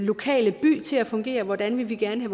lokale by til at fungere hvordan de gerne